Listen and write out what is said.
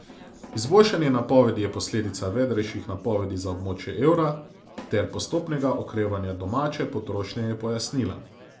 Izboljšanje napovedi je posledica vedrejših napovedi za območje evra ter postopnega okrevanja domače potrošnje, je pojasnila.